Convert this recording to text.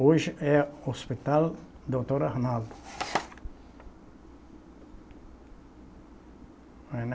Hoje é Hospital Doutor Arnaldo. Aí, né